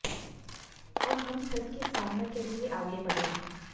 अब हम छत की स्थापना के लिए आगे बढ़ें